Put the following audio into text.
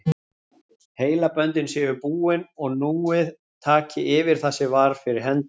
Heilaböndin séu búin og núið taki yfir það sem var fyrir hendi.